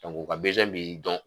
o ka bi dɔn